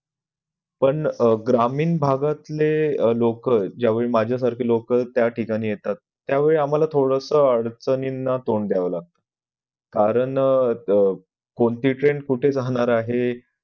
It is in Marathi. पण ग्रामीण भागातले लोक ज्यावेळी माझ्या सारखे लोक त्या ठिकाणी येतात त्यावेळी आम्हाला थोडस अडचणींना तोंड द्यावं लागत कारण कोणती train कुठं जाणार आहे